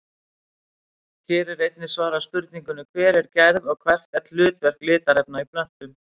Hér er einnig svarað spurningunni Hver er gerð og hvert er hlutverk litarefna í plöntum?